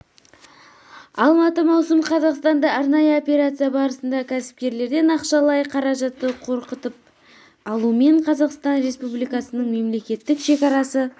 алматы маусым қазақстанда арнайы опеарция барысында кәсіпкерлерден ақшалай қаражатты қорқытып алумен қазақстан республикасының мемлекеттік шекарасы